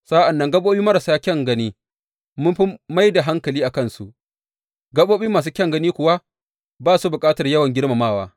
Sa’an nan gaɓoɓi marasa kyan gani, mun fi mai da hankali a kansu, gaɓoɓi masu kyan gani kuwa, ba su bukatar yawan girmamawa.